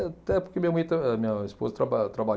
Até porque minha mãe ta, minha esposa traba trabalha